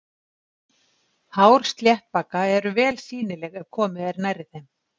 Hár sléttbaka eru vel sýnileg ef komið er nærri þeim.